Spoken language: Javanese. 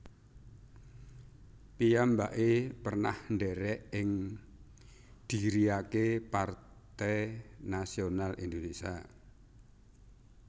Piyambake pernah ndherek ing dhiriake Partai Nasional Indonesia